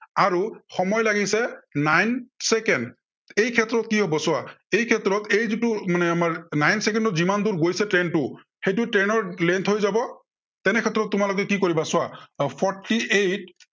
আৰু সময় লাগিছে nene চেকেণ্ড। এই ক্ষেত্ৰত কি হব চোৱা, এই ক্ষেত্ৰত এই যিটো মানে আমাৰ nine চেকেণ্ডত যিমান দূৰ গৈছে train টো সেইটো train ৰ length হৈ যাব, তেনে ক্ষেত্ৰত তোমালোকে কি কৰিবা চোৱা, আহ fourty eight